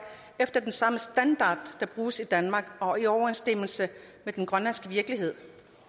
efter den samme standard der bruges i danmark og i overensstemmelse med den grønlandske virkelighed